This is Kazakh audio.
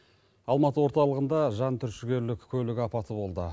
алматы орталығында жантүршігерлік көлік апаты болды